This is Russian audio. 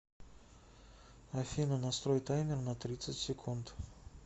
афина настрой таймер на тридцать секунд